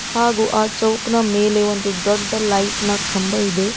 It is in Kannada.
ಹಾಗು ಆ ಚೌಕ್ನ ಮೇಲೆ ಒಂದು ದೊಡ್ಡ ಲೈಟ್ ನ ಕಂಬ ಇದೆ.